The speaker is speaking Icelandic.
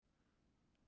Þín Inga Rut.